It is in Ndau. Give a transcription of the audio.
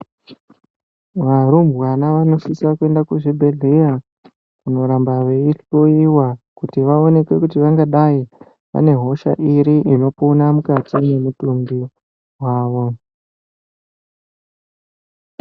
Murumbwana unosisa kuenda kuzvibhehlera kunoramba vei hloyiwa kuti vaoneke kuti vangadai vaine hosha iri inopona mukati memwiri wavo